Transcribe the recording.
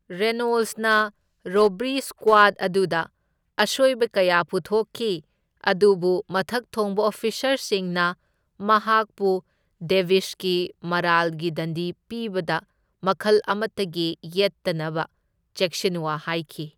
ꯔꯦꯅꯣꯜꯁꯅ robbery ꯁꯀ꯭ꯋꯥꯗ ꯑꯗꯨꯗ ꯑꯁꯣꯢꯕ ꯀꯌꯥ ꯄꯨꯊꯣꯛꯈꯤ ꯑꯗꯨꯕꯨ ꯃꯊꯛꯊꯣꯡꯕ ꯑꯣꯐꯤꯁꯥꯔꯁꯤꯡꯅ ꯃꯍꯥꯛꯄꯨ ꯗꯦꯕꯤꯁꯀꯤ ꯃꯔꯥꯜꯒꯤ ꯗꯟꯗꯤ ꯄꯤꯕꯗ ꯃꯈꯜ ꯑꯃꯇꯒꯤ ꯌꯦꯠꯇꯅꯕ ꯆꯦꯛꯁꯤꯟꯋꯥ ꯍꯥꯏꯈꯤ꯫